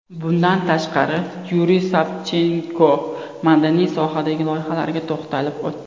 Bundan tashqari, Yuriy Savchenko madaniy sohadagi loyihalarga to‘xtalib o‘tdi.